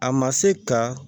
A ma se ka